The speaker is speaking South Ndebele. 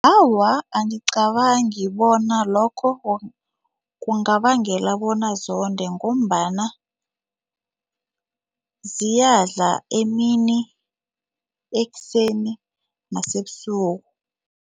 Awa, angicabangi bona lokho kungabangela bona zonde ngombana ziyadla emini, ekuseni nasebusuku.